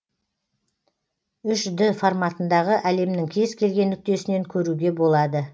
үш д форматындағы әлемнің кез келген нүктесінен көруге болады